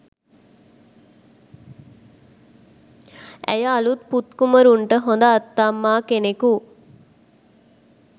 ඇය අලූත් පුත් කුමරුන්ට හොඳ ආත්තම්මා කෙනකු